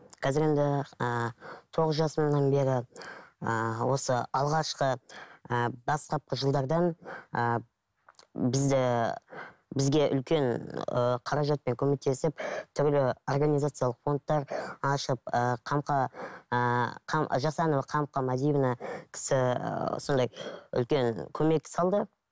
қазір енді ііі тоғыз жасымнан бері ііі осы алғашқы ыыы бастапқы жылдардан ыыы бізді бізге үлкен ыыы қаражатпен көмектесіп түрлі организациялық фондтар ашып ыыы қамқа ыыы жасанова қамқа мәдиевна кісі ы сондай үлкен көмек салды